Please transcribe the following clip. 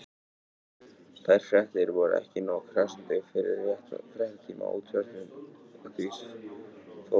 Þær fréttir voru ekki nógu krassandi fyrir fréttatíma Útvarpsins og því fór sem fór.